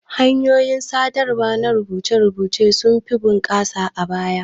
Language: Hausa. Hanyoyin sadarwa na rubuce-rubuce sunfi bunƙasa a baya.